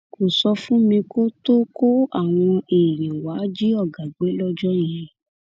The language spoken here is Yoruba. kò sọ fún mi kó tóó kó àwọn èèyàn wàá jí ọgá gbé lọjọ yẹn